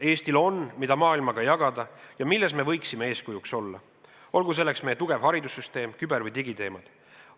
Eestil on, mida maailmaga jagada ja milles me võiksime eeskujuks olla, olgu selleks näiteks meie tugev haridussüsteem, küber- ja digiteemad.